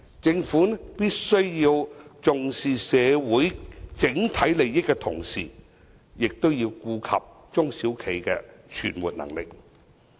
政府必須在重視社會整體利益的同時，亦要顧及中小企的存活能力。